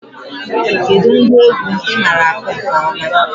Kedụ ngwa egwu ị maara akụ nke ọma?